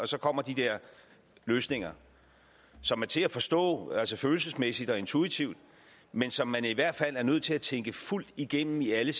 så kommer de der løsninger som er til at forstå følelsesmæssigt og intuitivt men som man i hvert fald er nødt til at tænke fuldt igennem i alle